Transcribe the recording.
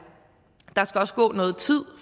der skal også gå noget tid